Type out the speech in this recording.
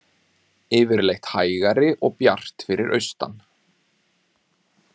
Yfirleitt hægari og bjart fyrir austan